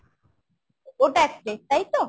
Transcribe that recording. ওটা এক plate তাইতো ?